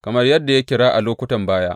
Kamar yadda ya kira a lokutan baya.